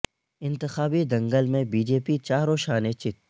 انتخابی دنگل میں بی جے پی چاروں شانے چت